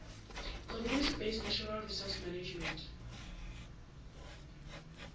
community based natural resource management